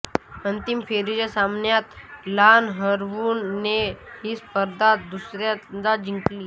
अंतिम फेरीच्या सामन्यात ला हरवून ने ही स्पर्धा दुसऱ्यांदा जिंकली